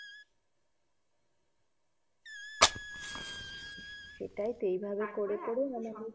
সেইটাই তো